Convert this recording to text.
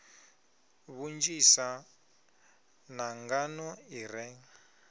vhunzhisa na nḓaḓo i re